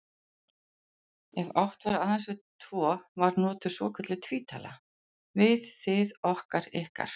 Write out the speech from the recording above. Ef átt var aðeins við tvo var notuð svokölluð tvítala, við, þið, okkar, ykkar.